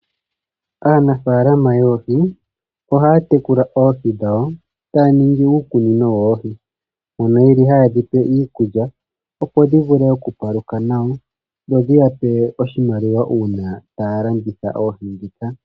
Aanafaalama yoohi ohaya tekula oohi dhawo taya ningi uukunino wawo. Mono yeli haye dhipe iikulya opo dhi vule oku paluka nawa dho dhi ya pe oshimaliwa uuna taya landitha oohi ndhika.